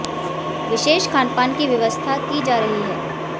विशेष खान पान की व्यवस्था की जा रही है